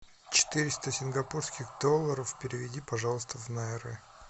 четыреста сингапурских долларов переведи пожалуйста в найры